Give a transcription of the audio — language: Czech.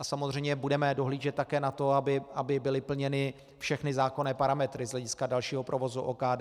A samozřejmě budeme dohlížet také na to, aby byly plněny všechny zákonné parametry z hlediska dalšího provozu OKD.